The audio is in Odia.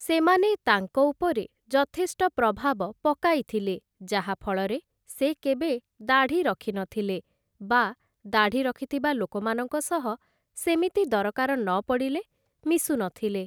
ସେମାନେ ତାଙ୍କ ଉପରେ ଯଥେଷ୍ଟ ପ୍ରଭାବ ପକାଇଥିଲେ ଯାହା ଫଳେ ସେ କେବେ ଦାଢ଼ି ରଖି ନଥିଲେ, ବା ଦାଢ଼ି ରଖିଥିବା ଲୋକମାନଙ୍କ ସହ ସେମିତି ଦରକାର ନପଡ଼ିଲେ ମିଶୁନଥିଲେ ।